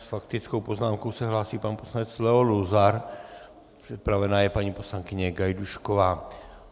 S faktickou poznámkou se hlásí pan poslanec Leo Luzar, připravena je paní poslankyně Gajdůšková.